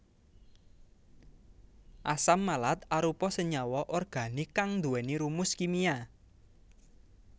Asam malat arupa senyawa organik kang nduwèni rumus kimia